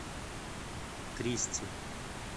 кристи